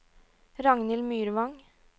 Ragnhild Myrvang